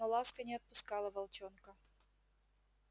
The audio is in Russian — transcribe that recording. но ласка не отпускала волчонка